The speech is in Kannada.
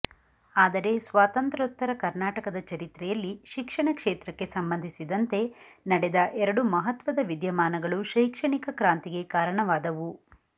ಆದರೆ ಸ್ವಾತಂತ್ರ್ಯೋತ್ತರ ಕರ್ನಾಟಕದ ಚರಿತ್ರೆಯಲ್ಲಿ ಶಿಕ್ಷಣ ಕ್ಷೇತ್ರಕ್ಕೆ ಸಂಬಂಧಿಸಿದಂತೆ ನಡೆದ ಎರಡು ಮಹತ್ವದ ವಿದ್ಯಮಾನಗಳು ಶೈಕ್ಷಣಿಕ ಕ್ರಾಂತಿಗೆ ಕಾರಣವಾದವು